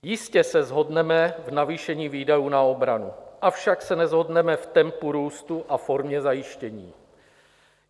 Jistě se shodneme v navýšení výdajů na obranu, avšak se neshodneme v tempu růstu a formě zajištění.